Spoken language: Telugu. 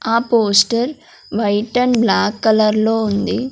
ఆ poster white and black colour లో ఉంది.